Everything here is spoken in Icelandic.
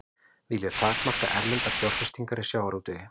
Vilja takmarka erlendar fjárfestingar í sjávarútvegi